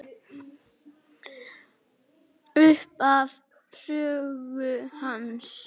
Upphaf sögu hans.